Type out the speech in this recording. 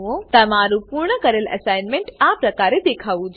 તમારું પૂર્ણ કરેલ અસાઇનમેંટ આ પ્રમાણે દેખાવું જોઈએ